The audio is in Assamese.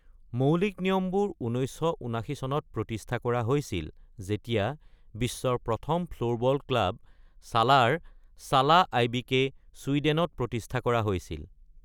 মৌলিক নিয়মবোৰ ১৯৭৯ চনত প্ৰতিষ্ঠা কৰা হৈছিল যেতিয়া বিশ্বৰ প্ৰথম ফ্লোৰবল ক্লাব, ছালাৰ ছালা আই.বি.কে, চুইডেনত প্ৰতিষ্ঠা কৰা হৈছিল।